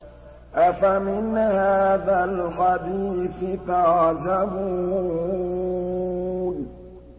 أَفَمِنْ هَٰذَا الْحَدِيثِ تَعْجَبُونَ